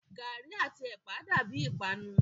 Gàrí àti ẹ̀pà dàbíi ìpanu.